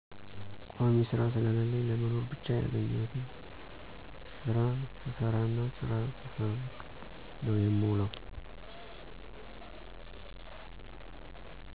ቋሚ ስራ ስለለለኝ ለመኖር ብቻ ያገኘሁትን ስራ ስሰራና ስራ ስፈልግ ነው የምውለው።